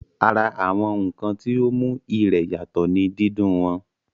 Ara àwọn ǹkan tí ó mú ìrẹ̀ yàtọ̀ ní dídún wọn